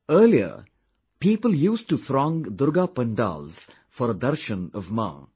Earlier, people used to throng Durga Pandals for a Darshan of Maa